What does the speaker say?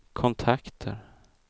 kontakter